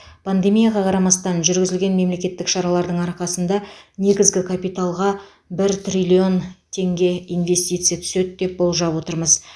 пандемияға қарамастан жүргізілген мемлекеттік шаралардың арқасында негізгі капиталға бір триллион теңге инвестиция түседі деп болжап отырмыз